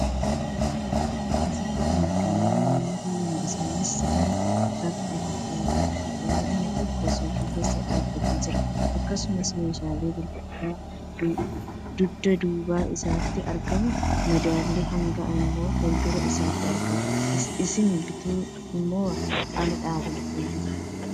Asitti kan argaman namoota lama. Isaanis sirna bittaa fi gurgurtaa irratti argamu. Inni tokko suuqii keessa dhaabbatte jira. Akkasumas meeshalen gurgurtaa dudduuba isaatti argamu madaalli hangaa immoo fuuldura isaatti argama. Ishiin bittu immo ala dhaabbatte jirti.